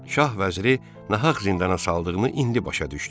Şah vəziri nahaq zindana saldığını indi başa düşdü.